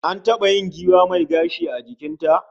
An taba yin giwa mai gashi a jikin ta